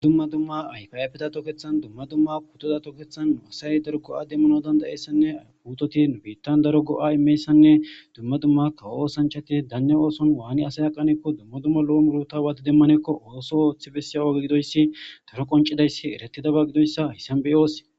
Dumma dumma ayfa ayfeta tokethan dumma dumma puteta tokethan asay daro go'a demanawu danda'iyaysanne putet nu Bittan daro go'a imiyayisa dumma dumma kawo osanchat Dane oson wan asay aqanekko dumma dumma lo'o muruta wan demanekon oso oothi bediyaya oge gidoys daro qoncidays eretidaba gidoysa haysan beyos.